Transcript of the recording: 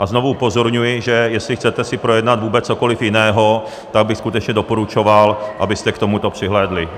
A znovu upozorňuji, že jestli chcete si projednat vůbec cokoliv jiného, tak bych skutečně doporučoval, abyste k tomu přihlédli.